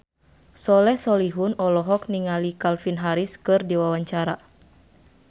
Soleh Solihun olohok ningali Calvin Harris keur diwawancara